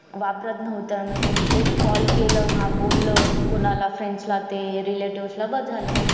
वापरात नव्हत्या म्हणजे एक call केलं हा बोल कोणाला friends ला ते relative बस झालं